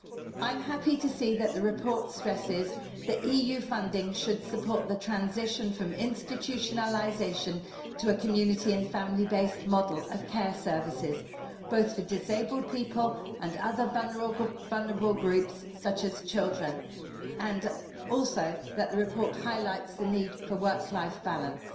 I'm happy to see that the report stresses that EU funding should support the transition from institutionalisation to a community and family-based model of care services, both for disabled people and other vulnerable groups such as children, and also that the report highlights the need for a work-life balance.